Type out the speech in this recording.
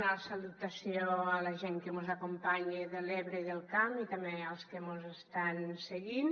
una salutació a la gent que mos acompanya de l’ebre i del camp i també als que mos estan seguint